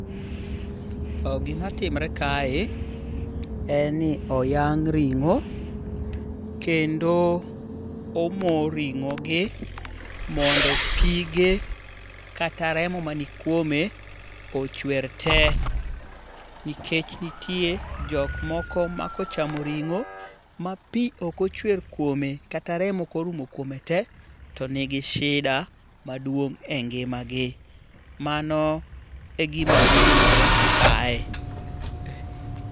Gima timore kae en ni oyang' ring'o. Kendo omo ring'ogi mondo pige kata remo manikuome ochwer te. Nikech nitie jokmoko ma kochamo ring'o ma pi ok ochwer kuome kata remo ok orumo kuome te to ni gi shida maduong' e ngimagi. Mano e gima timore kae.